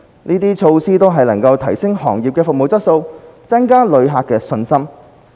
這些措施都能提升行業的服務質素，增加旅客的信心。